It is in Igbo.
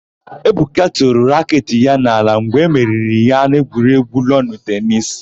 Ebuka tụrụ raketị ya n'ala mgbe e meriri ya n'egwuregwu lọnụ tenisi.